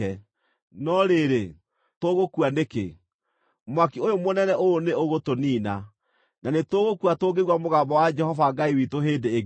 No rĩrĩ, tũgũkua nĩkĩ? Mwaki ũyũ mũnene ũũ nĩ ũgũtũniina, na nĩtũgũkua tũngĩigua mũgambo wa Jehova Ngai witũ hĩndĩ ĩngĩ.